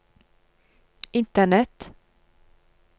internett